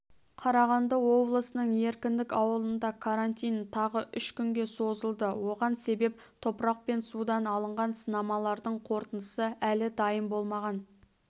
қарағанды облысының еркіндік ауылында карантин тағы үш күнге созылды оған себеп топырақ пен судан алынған сынамалардың қорытындысы әлі дайын болмаған